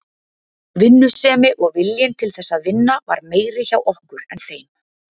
Vinnusemi og viljinn til þess að vinna var meiri hjá okkur en þeim.